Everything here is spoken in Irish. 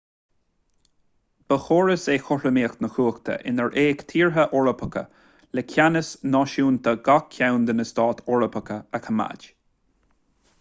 ba chóras é cothromaíocht na cumhachta inar fhéach tíortha eorpacha le ceannas náisiúnta gach ceann de na stáit eorpacha a choimeád